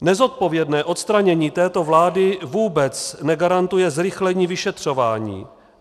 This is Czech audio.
Nezodpovědné odstranění této vlády vůbec negarantuje zrychlení vyšetřování.